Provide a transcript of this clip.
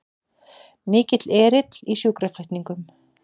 Mikill erill í sjúkraflutningum